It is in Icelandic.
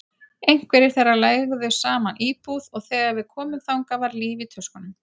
Einhverjir þeirra leigðu saman íbúð og þegar við komum þangað var líf í tuskunum.